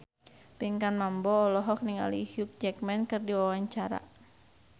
Pinkan Mambo olohok ningali Hugh Jackman keur diwawancara